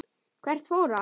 Hvert fór hann?